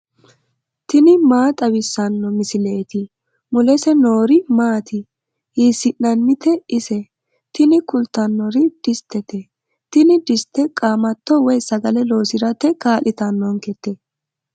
tini maa xawissanno misileeti ? mulese noori maati ? hiissinannite ise ? tini kultannori dissitete. tini dissite qaamatto woy sagale loosirate kaa'litannonketa.